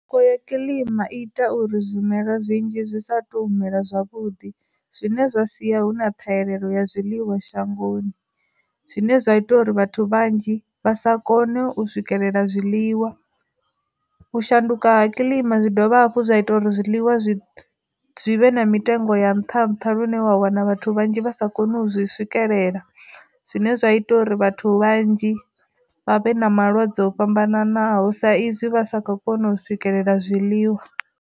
Kho ya kilima ita uri zwimela zwinzhi zwi sa to mela zwavhuḓi, zwine zwa sia hu na thahelelo ya zwiliwa shangoni, zwine zwa ita uri vhathu vhanzhi vha sa kone u swikelela zwiḽiwa. U shanduka ha kilima zwi dovha hafhu zwa ita uri zwiḽiwa zwi zwi vhe na mitengo ya nnṱha nnṱha lune wa wana vhathu vhanzhi vha sa koni u zwi swikelela, zwine zwa ita uri vhathu vhanzhi vha vhe na malwadze o fhambananaho sa izwi vha sa kho kona u swikelela zwiḽiwa.